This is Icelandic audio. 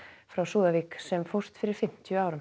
frá Súðavík sem fórst fyrir fimmtíu árum